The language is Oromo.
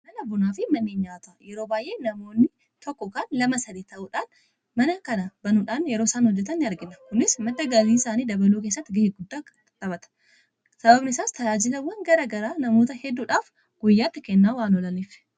Mana bunaa fi mana nyaata yeroo baay'ee namoonni tokko kan lama yookiin sadii ta'uudhaan mana kana banuudhaan yeroo isaan hojjetan ni argina. kunis madda galii isaanii dabaluu keessatti ga'ee guddaa taphata. Sababni isaas tajaajilawwan gara garaa namoota hedduudhaaf guyyaatti kennaa waan oolaniif.